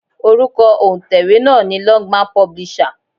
Orúkọ òǹtẹ̀wé náà ni Longman publisher.